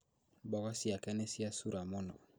Mboga ciake nĩ ciacura mũno